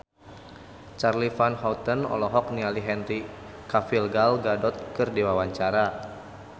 Charly Van Houten olohok ningali Henry Cavill Gal Gadot keur diwawancara